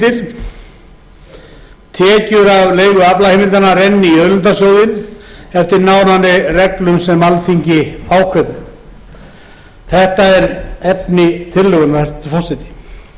af leigu aflaheimildanna renni í auðlindasjóðinn eftir nánari reglum sem alþingi ákveður þetta er efni tillögunnar hæstvirtur forseti hér